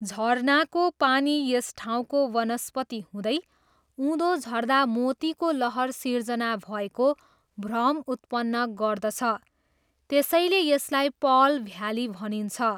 झरनाको पानी यस ठाउँको वनस्पति हुँदै उँधो झर्दा मोतीको लहर सिर्जना भएको भ्रम उत्पन्न गर्दछ, त्यसैले यसलाई पर्ल भ्याली भनिन्छ।